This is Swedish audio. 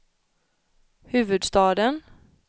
huvudstaden